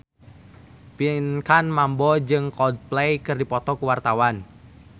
Pinkan Mambo jeung Coldplay keur dipoto ku wartawan